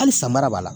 Hali san mara b'a la